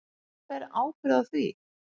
Hver ber ábyrgð á því?